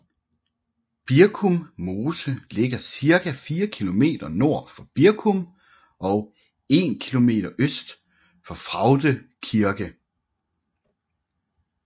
Birkum Mose ligger cirka 4 kilometer nord for Birkum og 1 kilometer øst for Fraugde Kirke